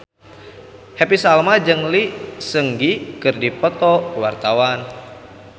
Happy Salma jeung Lee Seung Gi keur dipoto ku wartawan